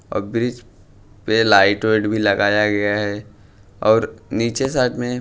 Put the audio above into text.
और ब्रिज पे light weight भी लगाया गया है और नीचे साथ में --